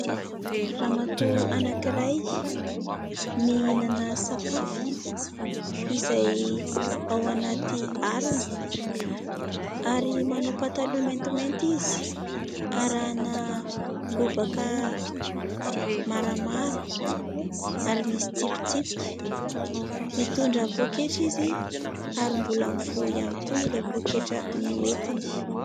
Ramatoa anankiray, mihinana sakafo izay ao anaty harona ary manao pataloha maintimainty izy arahana lobaka maramara ary misy tsipitsipika, mitondra poketra izy ary mbola mivoha ihany koa ilay poketra no nentiny.